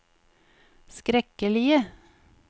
skrekkelige